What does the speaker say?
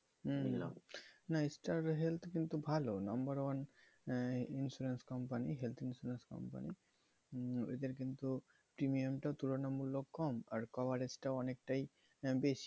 উহ বুঝলাম না Star Health কিন্তু ভালো number one insurance company health insurance company uh এদের কিন্তু premium টাও তুলনামূলক কম আর coverage টাও অনেকটাই বেশি।